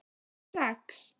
Fyrir sex?